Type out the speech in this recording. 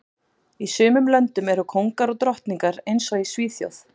Í sumum löndum eru kóngar og drottningar eins og í Svíþjóð